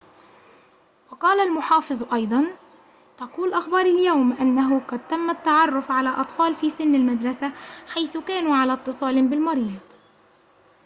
وقال المحافظ أيضاً تقول أخبار اليوم أنه قد تم التعرف على أطفال في سن المدرسة حيث كانوا على اتصال بالمريض